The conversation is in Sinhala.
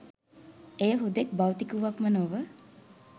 එය හුදෙක් භෞතික වූවක්ම නොව